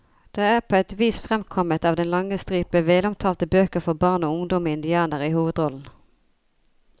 Det er på et vis fremkommet av den lange stripe velomtalte bøker for barn og ungdom med indianere i hovedrollen.